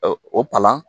O palan